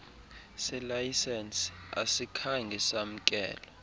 selayisenisi asikhange samkelwe